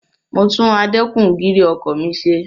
Mo tún adẹ́kun-gìrì ọkọ̀ mi ṣe.